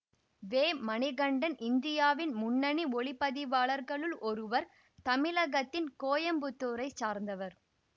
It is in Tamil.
வேமணிகண்டன் இந்தியாவின் முன்னணி ஒளிப்பதிவாளர்களுள் ஒருவர் தமிழகத்தின் கோயம்புத்தூரைச் சார்ந்தவர்